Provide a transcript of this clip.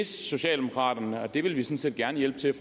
socialdemokraterne og det vil vi sådan set gerne hjælpe til